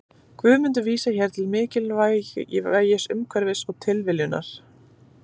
Guðmundur vísar hér til mikilvægis umhverfis og tilviljunar.